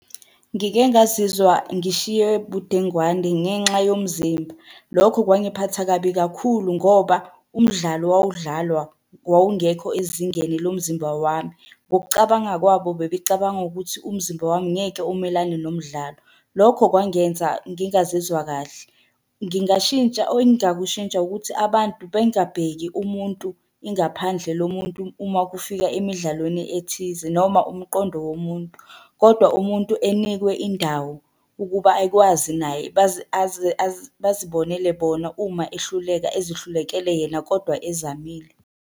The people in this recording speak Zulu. Ngike ngazizwa ngishiywe budengwane ngenxa yomzimba. Lokho kwangiphatha kabi kakhulu ngoba umdlalo owawudlalwa wawungekho ezingeni lomzimba wami. Ngokucabanga kwabo bebecabanga ukuthi umzimba wami ngeke umelane nomdlalo. Lokho kwangenza ngingazizwa kahle. Ngingashintsha, ongakushintsha ukuthi abantu bengabheki umuntu ingaphandle lomuntu uma kufika emidlalweni ethize noma umqondo womuntu, kodwa umuntu enikwe indawo ukuba akwazi naye bazibonele bona uma ehluleka ezihlulekele yena, kodwa ezamile.